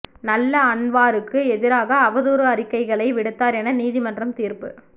நல்லா அன்வாருக்கு எதிராக அவதூறு அறிக்கைகளை விடுத்தார் என நீதிமன்றம் தீர்ப்பு